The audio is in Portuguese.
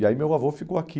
E aí meu avô ficou aqui.